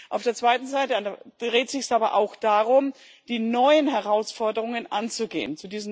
Auf der anderen Seite dreht es sich aber auch darum, die neuen Herausforderungen anzugehen.